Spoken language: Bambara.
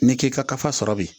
Ni k'i ka kafa sɔrɔ bi